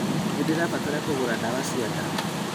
Nĩndĩrabatara kũgũra ndawa cia nda